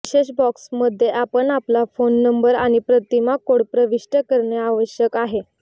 विशेष बॉक्स मध्ये आपण आपला फोन नंबर आणि प्रतिमा कोड प्रविष्ट करणे आवश्यक आहे